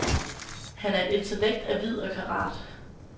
Han er et intellekt af vid og karat.